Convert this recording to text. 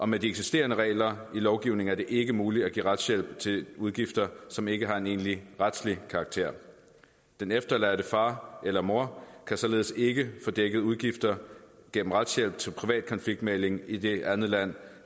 med de eksisterende regler i lovgivningen ikke muligt at give retshjælp til udgifter som ikke har en egentlig retslig karakter den efterladte far eller mor kan således ikke få dækket udgifter gennem retshjælp til privat konfliktmægling i det andet land